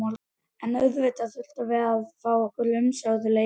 En auðvitað þurftum við að fá okkar umsömdu leigu.